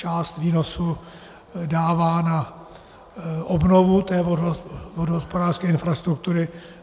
Část výnosu dává na obnovu té vodohospodářské infrastruktury.